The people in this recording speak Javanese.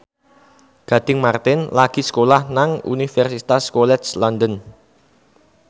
Gading Marten lagi sekolah nang Universitas College London